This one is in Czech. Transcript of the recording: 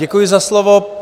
Děkuji za slovo.